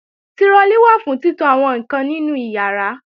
Tirọlí wà fún títo àwọn ǹkan nínú ìyàrá